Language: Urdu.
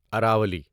اراولی